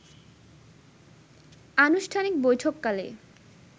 আনুষ্ঠানিক বৈঠককালে